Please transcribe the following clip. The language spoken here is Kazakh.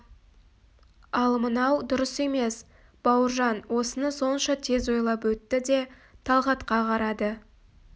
ал мынау дұрыс емес бауыржан осыны сонша тез ойлап өтті де талғатқа қарады